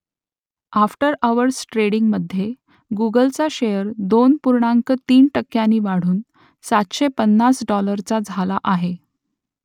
after hours ट्रेडिंगमध्ये गुगलचा share दोन पूर्णांक तीन टक्क्यांनी वाढून सातशे पन्नास डॉलरचा झाला आहे